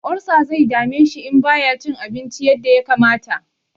Olsa zai dame shi in ba ya cin abinci yadda ya kamata.